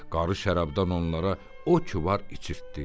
Qarı şərabdan onlara o ki var içirtdi.